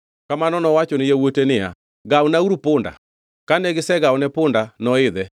Kamano nowacho ni yawuote niya, “Gawnauru punda.” Kane gisegawone punda, noidhe